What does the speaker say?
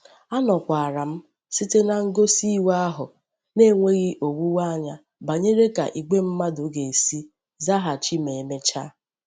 Anokwara m site na ngosi iwe ahu, n'enweghi owuwe anya banyere ka igwe mmadu ga-esi zaghachima e mechaa.